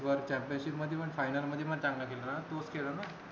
world championship मध्ये पण final मध्ये पण चांगला केल ना तूच केल ना